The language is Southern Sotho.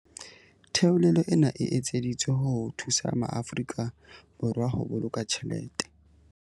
Theolelo ena e etseditswe ho thusa maAfori ka Borwa ho boloka tjhelete.